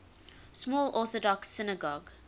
small orthodox synagogue